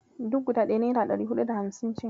Duk guda ɗaya naira ɗari huɗu da hamsin ce.